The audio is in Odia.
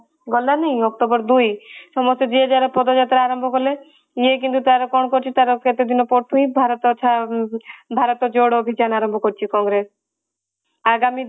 ଗଲାନି october ଦୁଇ ସମସ୍ତେ ଯିଏ ଯାହାର ପଦ ଯାତ୍ରା ଆରମ୍ଭ କଲେ ଇଏ କିନ୍ତୁ ତାର କଣ କରୁଛି ତାର କେତେଦିନ ପର ଠୁ ହିଁ ଭାରତ ଛାଡି ଭରତ ଯୋଡ ଅଭିଯାନ ଆରମ୍ଭ କରିଛି କଂଗ୍ରେସ ଆଗାମୀ